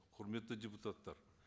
құрметті депутаттар